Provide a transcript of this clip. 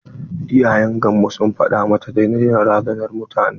Iyayen gamvo sun faɗa mata ta daina razanar mutane.